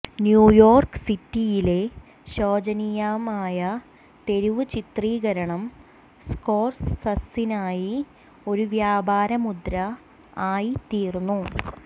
new York സിറ്റിയിലെ ശോചനീയമായ തെരുവ് ചിത്രീകരണം സ്കോർസസിനായി ഒരു വ്യാപാരമുദ്ര ആയിത്തീർന്നു